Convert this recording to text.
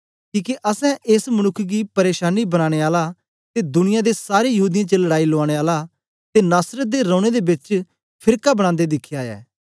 किके असैं एस मनुक्ख गी प्रेशानी बनानें आला ते दुनिया दे सारे यहूदीयें च लड़ाई लुआनें आला ते नासरत दे रौनें दे बेच फेरका बनांदे दिखया ऐ